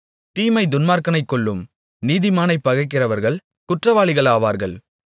தீமை துன்மார்க்கனைக் கொல்லும் நீதிமானைப் பகைக்கிறவர்கள் குற்றவாளிகளாவார்கள்